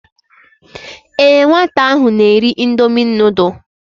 Ee nwata ahụ na-eri indomi nudul.